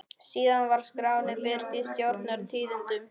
Síðan var skráin birt í Stjórnar- tíðindum.